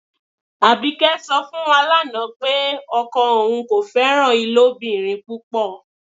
Abíkẹ́ sọ̀ fún wá láńà pé ọkọ ọun kò fẹran ilobìrín púpọ́.